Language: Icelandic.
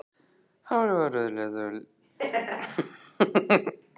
Hárið var rauðleitt og lítillega farið að þynnast í kollvikunum.